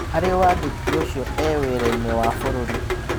Harĩ wandĩki ũcio, 'e-wĩra-inĩ wa bũrũri.